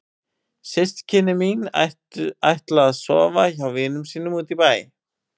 Systkini mín ætla að sofa hjá vinum sínum úti í bæ.